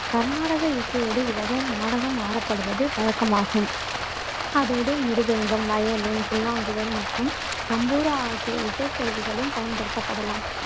கருநாடக இசையோடு இவ்வகை நடனம் ஆடப்படுவது வழக்கமாகும் அதோடு மிருதங்கம், வயலின், புல்லாங்குழல் மற்றும் தம்புரா ஆகிய இசைக்கருவிகளும் பயன்படுத்தப்படலாம்.